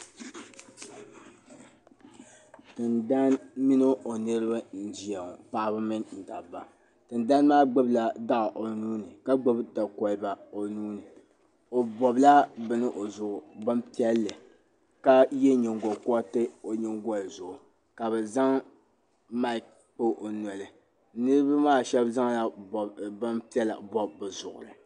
Tiŋdana mini o niriba n ʒeya ŋɔ paɣaba mini dabba tiŋdana maa gbubla dɔɣu o nuu ni ka gbubi dakoliba o nuu ni o bɔbla bini o zuɣu bin piɛlli ka yɛ nyingo kɔriti o nyingoli zuɣu ka bɛ zaŋ mik kpa o noli niriba maa shɛba zaŋla binpiɛlla bɔbi bɛ zuɣuri